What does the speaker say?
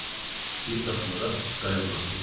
Bir daxmada qayğanaq yedim.